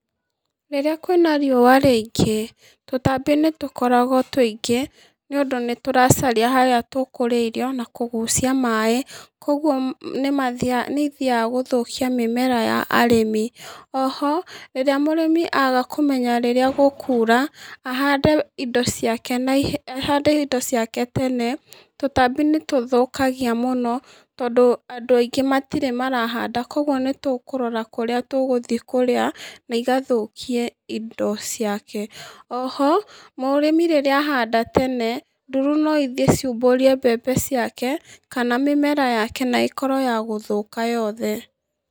Rĩrĩa kwĩna riũa rĩingĩ, tũtambi nĩtũkoragwo tũingĩ nĩũndũ nĩtũracaria harĩa tũkũrĩra na kũgucia maĩ, koguo mĩ nĩmathiaga gũthũkia mĩmera ya arĩmi, oho, rĩrĩa mũrĩmi akũmenya rĩrĩa gũkura, ahande indo ciake nai ahande indo ciake tene, tũtambi nĩtũthũkagia mũno, tondũ andũ aingĩ matirĩ marahanda, koguo nĩtũkũrora kũrĩa tũgũthiĩ kũrĩa, naigathũkia indo ciake, oho, mũrĩmi rĩrĩa ahanda tene, nduru noithiĩ ciumbũrie mbembe ciake kana mĩmera yake naĩkorwo yagũthũka yothe.